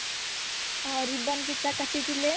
ହଁ ribbon ଫିତା କାଟିଥିଲେ